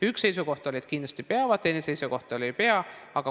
Üks seisukoht oli, et kindlasti peavad, teine seisukoht oli, et ei pea.